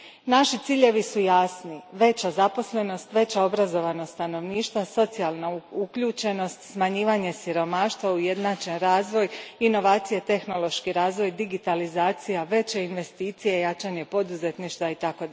Naši ciljevi su jasni veća zaposlenost, veća obrazovanost stanovništva, socijalna uključenost, smanjivanje siromaštva, ujednačen razvoj, inovacije i tehnološki razvoj, digitalizacija, veće investicije, jačanje poduzetništva itd.